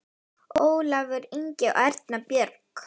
Ólafur Ingi og Erna Björg.